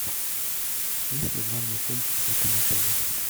есть ли банный комплекс в этом отеле